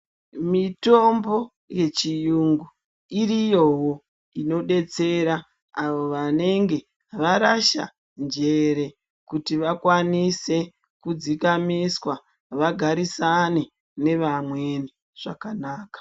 Mitombo yeChiyungu iriyowo inodetsera avo vanenge varasha njere kuti vakwanise kudzikamiswa vagarisane nevamweni zvakanaka.